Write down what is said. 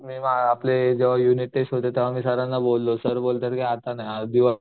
नाही आपले जेव्हा युनिट टेस्ट होती तेव्हा मी सरांना बोललो सर बोलतायत आत्ता नाही आज